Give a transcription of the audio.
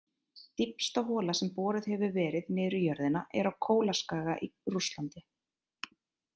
Dýpsta hola sem boruð hefur verið niður í jörðina er á Kólaskaga í Rússlandi.